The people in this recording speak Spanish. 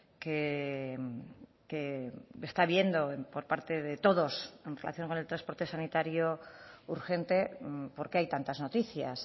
que está viendo por parte de todos en relación con el transporte sanitario urgente porqué hay tantas noticias